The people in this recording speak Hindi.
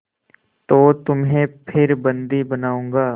तो तुम्हें फिर बंदी बनाऊँगा